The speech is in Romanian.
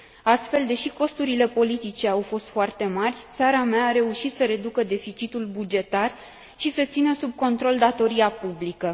Astfel, deși costurile politice au fost foarte mari, țara mea a reușit să reducă deficitul bugetar și să țină sub control datoria publică.